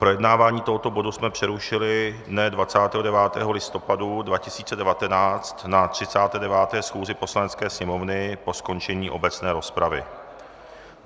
Projednávání tohoto bodu jsme přerušili dne 29. listopadu 2019 na 39. schůzi Poslanecké sněmovny po skončení obecné rozpravy.